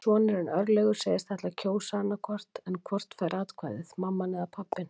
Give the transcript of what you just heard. Sonurinn, Örlygur, segist ætla að kjósa annað hvort en hvort fær atkvæðið, mamman eða pabbinn?